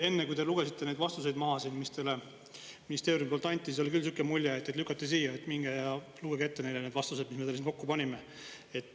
Enne, kui te lugesite neid vastuseid maha siin, mis teile ministeeriumi poolt anti, siis oli küll niisugune mulje, et teid lükati siia, et minge ja lugege ette neile need vastused, mis me teile siin kokku panime.